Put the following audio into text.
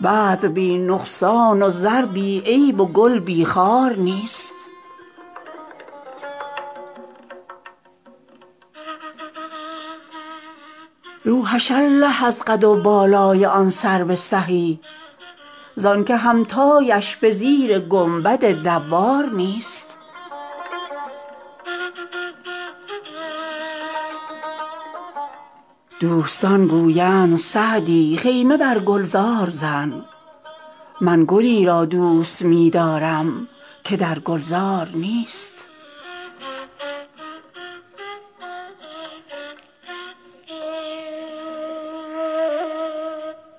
بدر بی نقصان و زر بی عیب و گل بی خار نیست لوحش الله از قد و بالای آن سرو سهی زان که همتایش به زیر گنبد دوار نیست دوستان گویند سعدی خیمه بر گلزار زن من گلی را دوست می دارم که در گلزار نیست